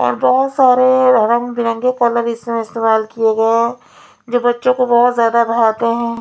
और बहोत सारे रंग-बिरंगे कलर इसमें इस्तेमाल किये गये हैं जो बच्चों को बहोत जादा भाते हैं।